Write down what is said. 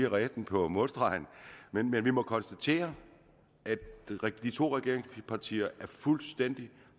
redde den på målstregen men vi må konstatere at de to regeringspartier er fuldstændig